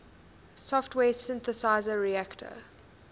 software synthesizer reaktor